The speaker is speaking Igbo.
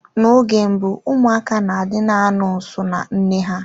Na oge mbụ ụmụaka na-adị na-anọ nso na nne ha.